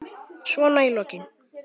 Svona í lokin.